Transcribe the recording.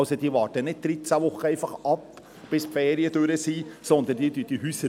Sie warten also nicht einfach 13 Wochen ab, bis die Ferien vorbei sind, sondern sie warten diese Häuser.